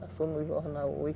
Passou no jornal hoje.